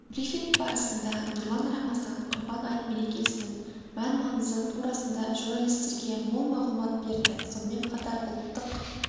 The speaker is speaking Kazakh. брифинг барысында нұрлан рамазан құрбан айт мерекесінің мән-маңызы турасында журналистерге мол мағлұмат берді сонымен қатар ұлттық